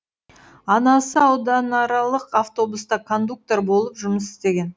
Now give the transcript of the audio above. анасы ауданаралық автобуста кондуктор болып жұмыс істеген